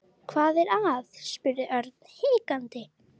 Hvað er að? spurði Örn hikandi.